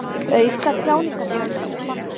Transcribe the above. Vill auka tjáningarfrelsi